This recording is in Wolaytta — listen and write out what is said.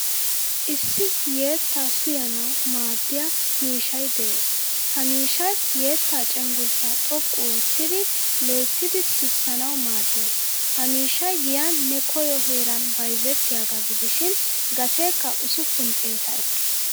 Issi yeettaa suiyanawu maaddiyaa miishshay de'ees. Ha miishshay yetta cenggurssa xoqqu oottidi loyttidi sisanawu maaddees. Ha miishshay giyan ne koyo heeran bayzettiyaga gidishin gateekka usuppun xeetaa eekkees.